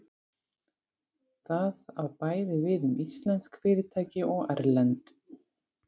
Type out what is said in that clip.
Það á bæði við um íslensk fyrirtæki og erlend.